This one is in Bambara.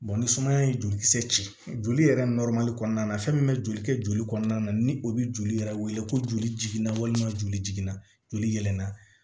ni sumaya ye jolikisɛ ci joli yɛrɛ kɔnɔna na fɛn min bɛ joli kɛ joli kɔnɔna na ni o bɛ joli yɛrɛ wele ko joli jiginna walima joli jiginna joli yɛ na